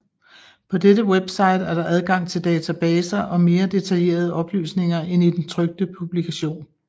På dette website er der adgang til databaser og mere detaljerede oplysninger end i den trykte publikation